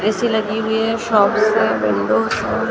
वैसी लगी हुई हैं शॉप्स पे विंडोज़ हैं ।